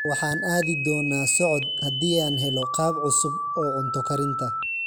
Waxaan aadi doonaa socod haddii aan helo qaab cusub oo cunto karinta.